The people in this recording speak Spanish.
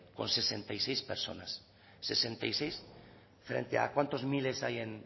con sesenta y seis personas sesenta y seis frente a cuántos miles hay en